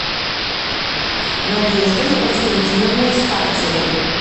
надеждой константиновной старцевой